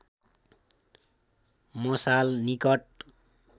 मसाल निकट